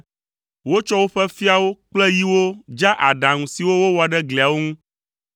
Wotsɔ woƒe fiawo kple yiwo dza aɖaŋu siwo wowɔ ɖe gliawo ŋu.